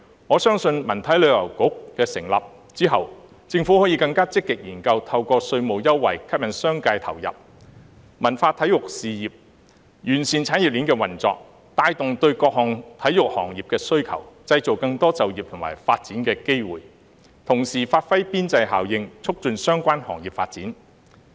我相信在文體旅遊局成立之後，政府可以更積極研究透過稅務優惠，吸引商界投入文化體育事業，完善產業鏈的運作，帶動對各項體育行業的需求，製造更多就業和發展機會，同時發揮邊際效應，促進相關行業發展。